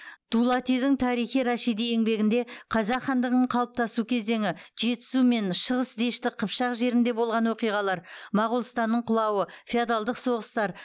дулатидың тарихи рашиди еңбегінде қазақ хандығының қалыптасу кезеңі жетісу мен шығыс дешті қыпшақ жерінде болған оқиғалар моғолстанның құлауы феодалдық соғыстар